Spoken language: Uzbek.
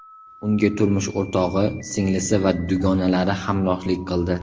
Unga turmush o‘rtog‘i, singlisi va dugonalari hamrohlik qildi.